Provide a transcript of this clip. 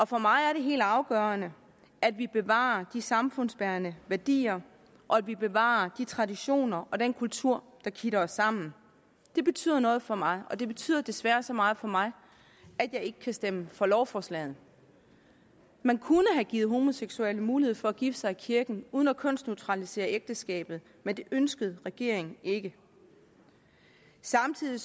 for mig er det helt afgørende at vi bevarer de samfundsbærende værdier og at vi bevarer de traditioner og den kultur der kitter os sammen det betyder noget for mig og det betyder desværre så meget for mig at jeg ikke kan stemme for lovforslaget man kunne have givet homoseksuelle mulighed for at gifte sig i kirken uden at kønsneutralisere ægteskabet men det ønskede regeringen ikke samtidig er